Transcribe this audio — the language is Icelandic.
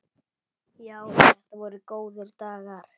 Já, þetta voru góðir dagar.